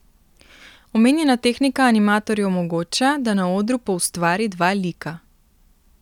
Omenjena tehnika animatorju omogoča, da na odru poustvari dva lika.